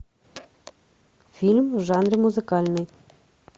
фильм в жанре музыкальный